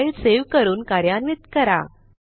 file save करून कार्यान्वित करा